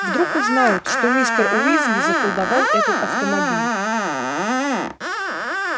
вдруг узнают что мистер уизли заколдовал этот автомобиль